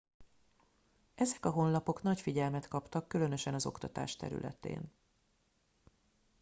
ezek a honlapok nagy figyelmet kaptak különösen az oktatás területén